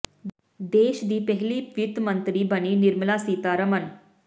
ਦੇਸ਼ ਦੀ ਪਹਿਲੀ ਮਹਿਲਾ ਵਿੱਤ ਮੰਤਰੀ ਬਣੀ ਨਿਰਮਲਾ ਸੀਤਾਰਮਨ